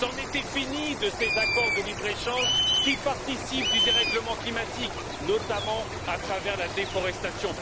C'en était fini de ces accords de libre échange qui participent au dérèglement climatique, notamment à travers la déforestation.